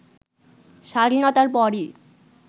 স্বাধীনতার পরই